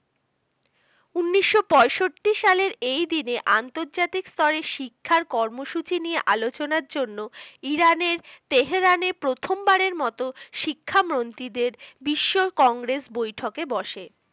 উনিশশো পঁয়ষট্টি সালের এই দিনে আন্তর্জাতিক স্তরে শিক্ষার কর্মসূচি নিয়ে আলোচনার জন্য Iran এর Tehran এ প্রথমবার এর মতো শিক্ষা মন্ত্রীদের বিশ্ব কংগ্রেস বৈঠক এ বসে